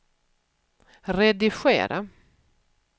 redigera